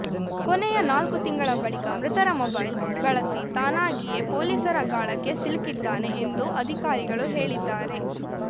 ಕೊನೆಯ ನಾಲ್ಕು ತಿಂಗಳ ಬಳಿಕ ಮೃತರ ಮೊಬೈಲ್‌ ಬಳಸಿ ತಾನಾಗಿಯೇ ಪೊಲೀಸರ ಗಾಳಕ್ಕೆ ಸಿಲುಕಿದ್ದಾನೆ ಎಂದು ಅಧಿಕಾರಿಗಳು ಹೇಳಿದ್ದಾರೆ